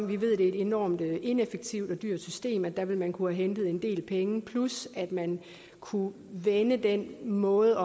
vi ved det er et enormt ineffektivt og dyrt system og der ville man have kunnet hente en del penge plus at man kunne vende den måde